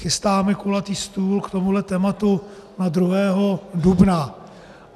Chystáme kulatý stůl k tomuhle tématu na 2. dubna.